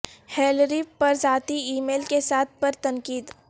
Hillary پر ذاتی email کے استعمال پر تنقید